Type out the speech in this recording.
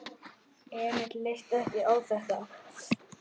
Emil leist ekki á þetta.